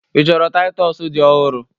Ị chọrọ Taịtọs dị ọhụrụ?